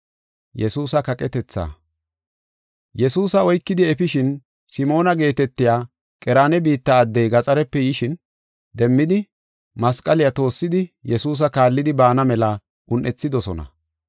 Yesuusa oykidi efishin Simoona geetetiya Qereena biitta addey gaxarepe yishin, demmidi masqaliya toossidi Yesuusa kaallidi baana mela un7ethidosona.